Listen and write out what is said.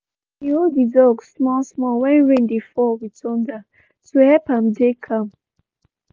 she been hold the dog small small when rain dey fall with thunder to help am dey calm.